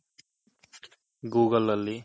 google ಅಲ್ಲಿ